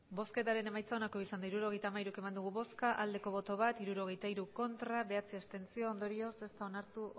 hirurogeita hamairu eman dugu bozka bat bai hirurogeita hiru ez bederatzi abstentzio ondorioz ez da onartu